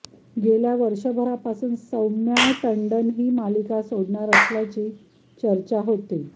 गेल्या वर्षभरापासून सौम्या टंडन ही मालिका सोडणार असल्याची चर्चा होती